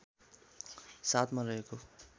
७ मा रहेको